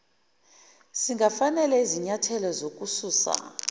singafanele isinyathelo sokususa